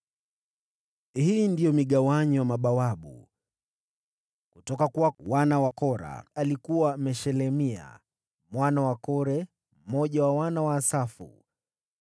Hii ndiyo migawanyo ya mabawabu: Kutoka kwa wana wa Kora alikuwa: Meshelemia mwana wa Kore, mmoja wa wana wa Asafu.